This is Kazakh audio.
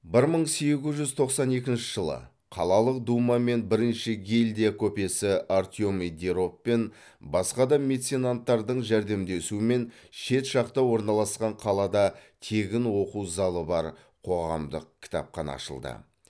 бір мың сегіз жүз тоқсан екінші жылы қалалық дума мен бірінші гильдия көпесі артемий деров пен басқа да меценаттардың жәрдемдесуімен шет жақта орналасқан қалада тегін оқу залы бар қоғамдық кітапхана ашылды